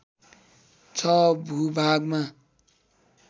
६ भूभागमा